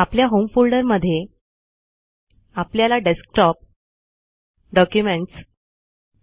आपल्या होम फोल्डरमधे आपल्याला डेस्कटॉप डॉक्युमेंट्स